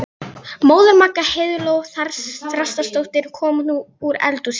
Móðir Magga, Heiðló Þrastardóttir, kom nú úr eldhúsinu.